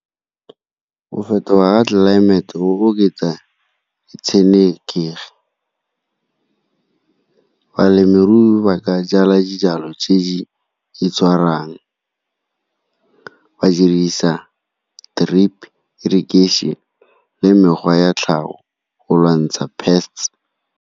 Go fetoga ga tlelaemete go oketsa ditshenekegi, balemirui ba ka jala dijalo tse di , ba dirisa drip irrigation le mekgwa ya tlhago go lwantsha pests.